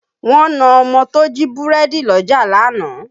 Wọ́n na ọmọ tó jí búrẹ́dì lọ́jà lánàá